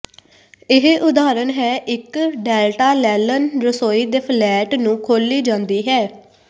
ਇਹ ਉਦਾਹਰਨ ਹੈ ਇੱਕ ਡੈਲਟਾ ਲੈਂਲਨ ਰਸੋਈ ਦੇ ਫਲੇਟ ਨੂੰ ਖੋਲੀ ਜਾਂਦੀ ਹੈ